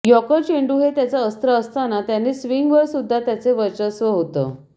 yorker चेंडू हे त्याचं अस्त्र असताना त्याने स्विंग वर सुद्धा त्याचे वर्चस्व होत